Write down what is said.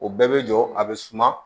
O bɛɛ bɛ jɔ a bɛ suma